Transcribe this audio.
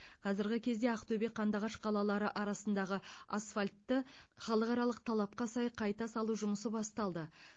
қазіргі кезде ақтөбе қандыағаш қалалары арасындағы асфальтты халықаралық талапқай сай қайта салу жұмысы басталды